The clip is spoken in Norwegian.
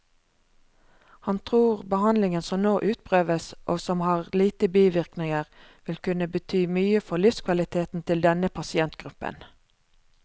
Han tror behandlingen som nå utprøves, og som har lite bivirkninger, vil kunne bety mye for livskvaliteten til denne pasientgruppen.